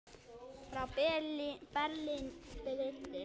Frá Berlín breiddi